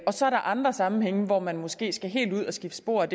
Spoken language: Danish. og så er der andre sammenhænge hvor man måske skal helt ud at skifte spor